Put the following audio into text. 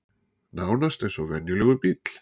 Nánast eins og venjulegur bíll